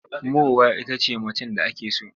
Mowa ita ce macen da ake so.